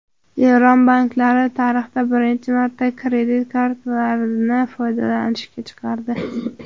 Eron banklari tarixda birinchi marta kredit kartalarini foydalanishga chiqardi.